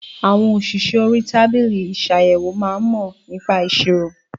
Àwọn òṣìṣẹ́ orí tábìlì isàyèwò máa ń mò nípa ìṣirò